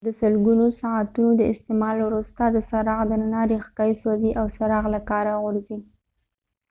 د سلګونو ساعتونو د استعمال وروسته د څراغ دننه ریښکۍ سوځي او څراغ له کاره غورځي